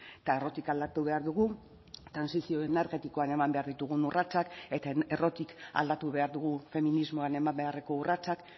eta errotik aldatu behar dugu trantsizio energetikoan eman behar ditugun urratsak eta errotik aldatu behar dugu feminismoan eman beharreko urratsak